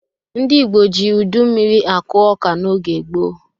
Ndị Igbo ji udu mmiri akụ ọka n'oge gboo.